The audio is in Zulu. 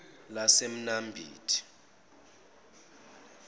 lasemnambithi